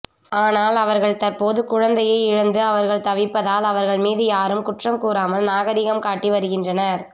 ஆனால் அவர்கள் தற்போது குழந்தையை இழந்து அவர்கள் தவிப்பதால் அவர்கள் மீது யாரும் குற்றம் கூறாமல் நாகரிகம் காட்டி வருகின்றனர்